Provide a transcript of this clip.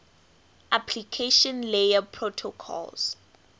application layer protocols